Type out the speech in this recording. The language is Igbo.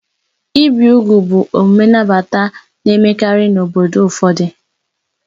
Ibi úgwù bụ omume nnabata na-emekarị n'obodo ụfọdụ.